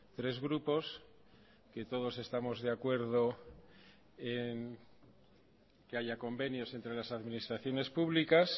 tres grupos que todos estamos de acuerdo en que haya convenios entre las administraciones públicas